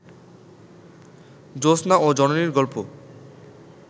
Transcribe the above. জোছনা ও জননীর গল্প